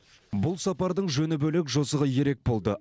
бұл сапардың жөні бөлек жосығы ерек болды